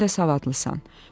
Özün də savadlısan.